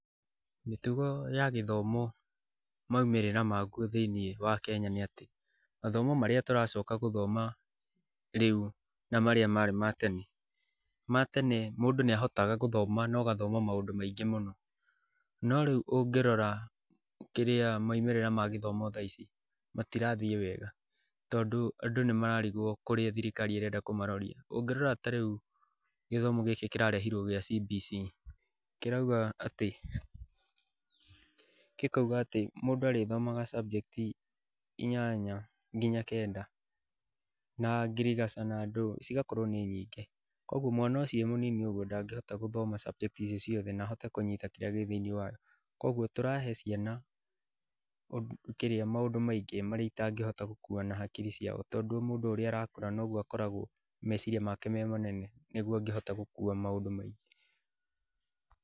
Mĩtugo ya gĩthomo maumĩrira maguo thĩinĩ ya Kenya, nĩ atĩ, mathomo marĩa tũracoka gũthoma rĩu na marĩa marĩ ma tene, matene mũndũ nĩ ahotaga gũthoma na ũgathoma maũndũ maingĩ mũno. No rĩu ũngĩrora kĩria maumĩrira ma gĩthomo matirathiĩ wega. Tondũ andũ nĩ marariguo kũrĩa thirikari ĩrenda kũmaroria. Ũngĩrora ta rĩũ gĩthomo gĩkĩ kĩrarehirwo, kĩa CBC, kĩrauga atĩ, gĩkauga atĩ mũndũ arĩthomaga subject inyanya ngina kenda. Na ngĩrigaca naadũĩ, cigakorwo nĩ nyingĩ. Mwana ũcio agakorwo ndangĩhota gũthoma subject icio ciothe na ahote kũnyita kĩria gĩthĩinĩ wakĩo. Koguo tũrahe ciana maũndũ maingĩ marĩa citangĩhota gũkuwa na hakiri ciao. Tondũ mũndũ o ũrĩa arakũra, noguo meciria make memanene, nĩguo angĩhota gũkuwa maũndũ maingĩ.